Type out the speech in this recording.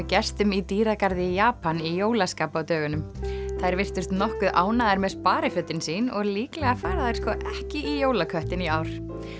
gestum í dýragarði í Japan í jólaskap á dögunum þær virtust nokkuð ánægðar með sparifötin sín og líklega fara þær sko ekki í jólaköttinn í ár